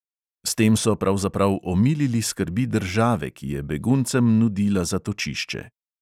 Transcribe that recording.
S tem so pravzaprav omilili skrbi države, ki je beguncem nudila zatočišče.